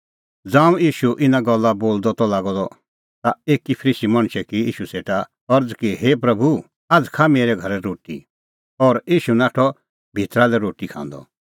ज़ांऊं ईशू इना गल्ला बोलदअ त लागअ द ता एकी फरीसी मणछै की ईशू सेटा अरज़ कि हे प्रभू आझ़ खाआ मेरै घरै रोटी और ईशू नाठअ भितरा लै रोटी खांदअ